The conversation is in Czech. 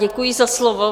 Děkuji za slovo.